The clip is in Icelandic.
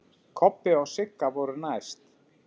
Kobbi og Sigga voru næst.